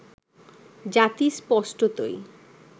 জাতি স্পষ্টতই